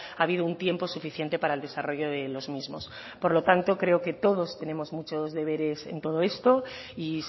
ha habido un tiempo suficiente para el desarrollo de los mismos por lo tanto creo que todos tenemos muchos deberes en todo esto y